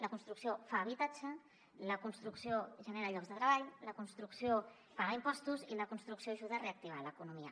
la construcció fa habitatge la construcció genera llocs de treball la construcció paga impostos i la construcció ajuda a reactivar l’economia